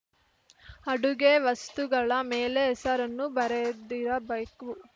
ಅಡುಗೆ ವಸ್ತುಗಳ ಮೇಲೆ ಹೆಸರನ್ನು ಬರೆದಿಡಬೇಕು